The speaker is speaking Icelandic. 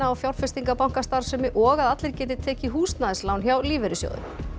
fjárfestingabankastarfsemi og að allir geti tekið húsnæðislán hjá lífeyrissjóðum